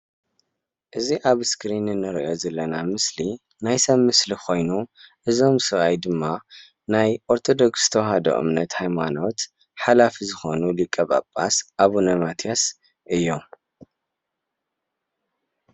እዚ ኣብ ስክሪን እንርእዮ ዘለና ምስሊ ናይ ሰብ ምስሊ ኮይኑ እዞም ስብኣይ ድማ ናይ ኦርቶዶክስ ተዋህዶ እምነት ሃይማኖት ሓላፊ ዝኾኑ ሊቀፓፓስ ኣቡነ ማትያስ እዮም።